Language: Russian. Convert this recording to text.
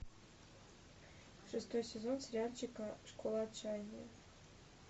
шестой сезон сериальчика школа отчаяния